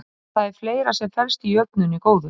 En það er fleira sem felst í jöfnunni góðu.